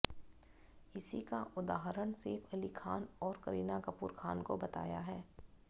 इसी का उदाहरण सैफ अली खान और करीना कपूर खान को बताया है